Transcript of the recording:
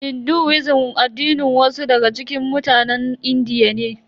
Hinduism addinin wasu daga cikin mutanen Indiya ne.